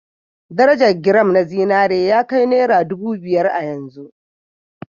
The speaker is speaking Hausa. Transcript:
Darajar giram na zinari ya kai naira ɗubu biyar a yanzu